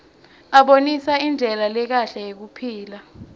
abonisa indlela lekahle yekuphila